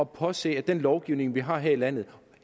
påse at den lovgivning man har her i landet